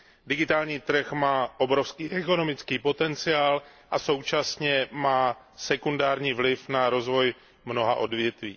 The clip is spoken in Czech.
Digitální trh má obrovský ekonomický potenciál a současně má sekundární vliv na rozvoj mnoha odvětví.